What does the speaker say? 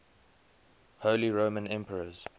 holy roman emperors